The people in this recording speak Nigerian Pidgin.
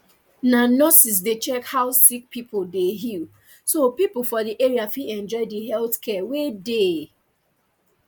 na nurses dey check how sick pipo dey heal so pipo for the area fit enjoy the health care wey dey